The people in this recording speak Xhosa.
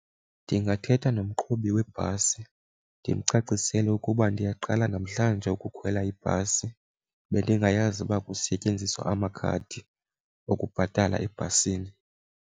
Ndingathetha nomqhubi webhasi ndimcacisele ukuba ndiyaqala namhlanje ukukhwela ibhasi bendingayazi uba kusetyenziswa amakhadi okubhatala ebhasini.